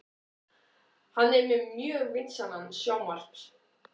Hann er með mjög vinsælan sjónvarps